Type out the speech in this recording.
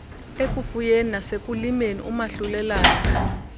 ekufuyeni nasekulimeni umahlulelane